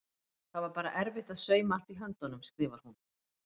Það var bara erfitt að sauma allt í höndunum skrifar hún.